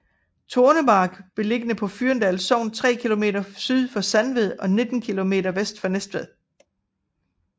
Tornemark er beliggende i Fyrendal Sogn tre kilometer syd for Sandved og 19 kilometer vest for Næstved